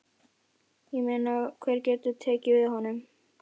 Ég meina hver getur tekið við honum?